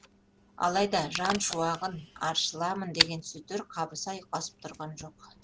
алайда жан шуағын аршыламын деген сөздер қабыса ұйқасып тұрған жоқ